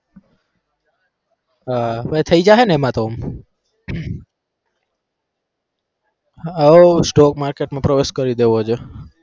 હા તો થઇ જાશે ને એમાં તો હઓ stock market માં પ્રવેશ કરી દેવો છે.